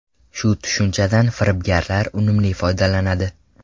Shu tushunchadan firibgarlar unumli foydalanadi.